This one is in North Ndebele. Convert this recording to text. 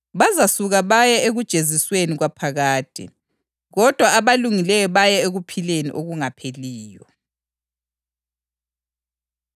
Izaphendula ithi, ‘Ngilitshela iqiniso ukuthi, loba kuyini elingakwenzelanga oyedwa nje omncinyane kulabo bonke walaba, kalikwenzelanga mina.’